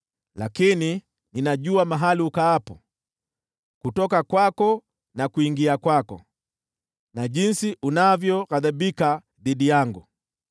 “Lakini ninajua mahali ukaapo, kutoka kwako na kuingia kwako, na jinsi unavyoghadhibika dhidi yangu.